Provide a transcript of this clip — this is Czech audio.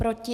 Proti?